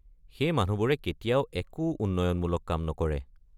সেই মানুহবোৰে কেতিয়াও একো উন্নয়নমূক কাম নকৰে।